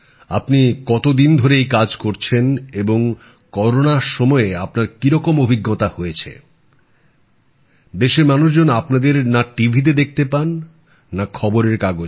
আপনি কতদিন ধরে এই কাজ করছেন এবং করোনার সময়ে আপনার কিরকম অভিজ্ঞতা হয়েছে দেশের মানুষজন আপনাদের না টিভি তে দেখতে পান না খবরের কাগজে